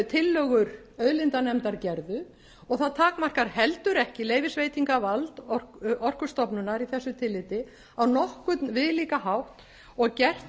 tillögur auðlindanefndar gerðu og það takmarkar heldur ekki leyfisveitingarvald orkustofnunar í þessu tilliti á nokkurn viðlíka hátt og gert